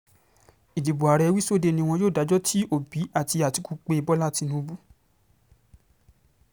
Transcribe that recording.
ìdìbò ààrẹ wíṣọdẹẹ́ ni wọn yóò dájọ́ tí òbí àti àtìkù pé bọ́lá tìǹbù